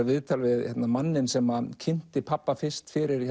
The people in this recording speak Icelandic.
viðtal við manninn sem kynnti pabba fyrst fyrir